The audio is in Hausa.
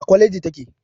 A kwaleji take.